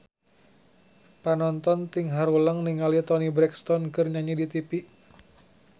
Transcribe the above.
Panonton ting haruleng ningali Toni Brexton keur nyanyi di tipi